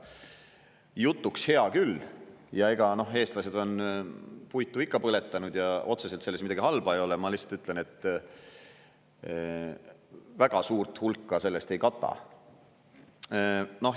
Jutuks hea küll, ja ega eestlased on puitu ikka põletanud ja otseselt selles midagi halba ei ole, ma lihtsalt ütlen, et väga suurt hulka sellest ei kata.